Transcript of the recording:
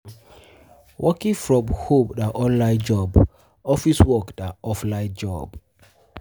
Working um from home na online job office work na offline job